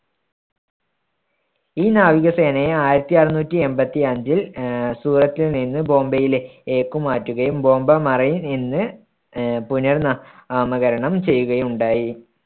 ഈ നാവികസേനയെ ആയിരത്തി അറുന്നൂറ്റി എൺപത്തി അഞ്ചിൽ ആഹ് സൂററ്റിൽ നിന്ന് ബോംബെയിലേ~ലേക്ക് മാറ്റുകയും ബോംബെ മറൈൻ എന്ന് ആഹ് പുനർ നാ~മകരണം ചെയ്യുകയുണ്ടായി.